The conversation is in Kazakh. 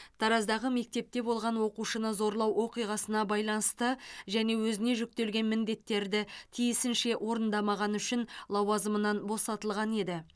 тараздағы мектепте болған оқушыны зорлау оқиғасына байланысты және өзіне жүктелген міндеттерді тиісінше орындамағаны үшін лауазымынан босатылған еді